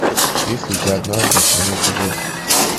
есть ли у тебя однажды в стране чудес